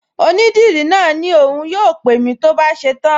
Onídìrí náà ní òun yóò pè mí tó bá ṣe tán